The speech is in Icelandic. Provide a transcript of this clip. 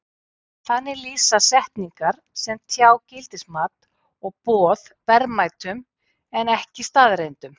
Þannig lýsa setningar sem tjá gildismat og boð verðmætum en ekki staðreyndum.